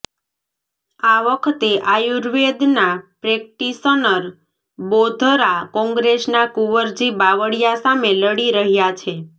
આ વખતે આર્યુવેદના પ્રેક્ટિશનર બોઘરા કોંગ્રેસના કુંવરજી બાવળિયા સામે લડી રહ્યા છે